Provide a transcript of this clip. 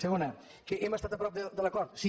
segona que hem estat a prop de l’acord sí